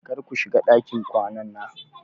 Kar ku shiga ɗakin kwanana!